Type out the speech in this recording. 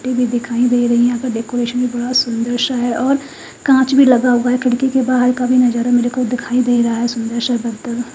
TV दिखाई दे रही है यहां का डेकोरेशन भी बड़ा सुंदर सा है और कांच भी लगा हुआ है खिड़की के बाहर का भी नजारा मेरे को दिखाई दे रहा है सुंदर सा